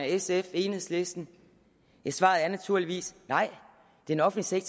sf og enhedslisten svaret er naturligvis nej den offentlige